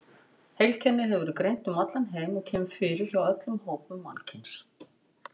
Heilkennið hefur verið greint um allan heim og kemur fyrir hjá öllum hópum mannkyns.